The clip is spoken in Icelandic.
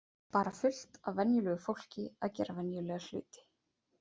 Bara fullt af venjulegu fólki að gera venjulega hluti.